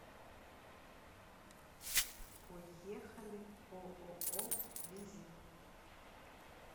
поехали ооо визит